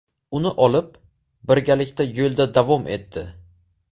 Uni olib, birgalikda yo‘lda davom etdi.